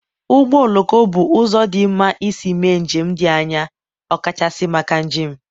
ụgbọ oloko bụ ụzọ dị mma isi mee njem dị anya, ọkachasị maka njem.